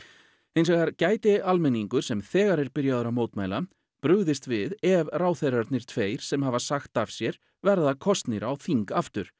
hins vegar gæti almenningur sem þegar er byrjaður að mótmæla brugðist við ef ráðherrarnir tveir sem hafa sagt af sér verða kosnir á þing